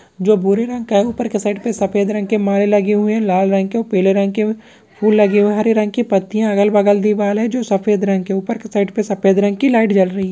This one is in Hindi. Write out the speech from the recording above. जो भूरे रंग का है ऊपर के साइड पे सफ़ेद रंग के माले लगे हए हैं लाल रंग के और पीले रंग के फुल लगे हुए है हरे रंग के पत्तियाँ अगल-बगल दीवाल है जो सफ़ेद रंग की ऊपर के साइड पे सफ़ेद रंग की लाइट जल रही --